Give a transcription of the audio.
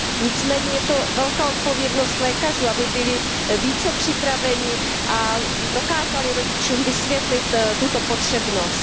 Nicméně je to velká odpovědnost lékařů, aby byli více připraveni a dokázali rodičům vysvětlit tuto potřebnost.